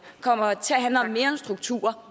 kommer det til at handle om mere end strukturer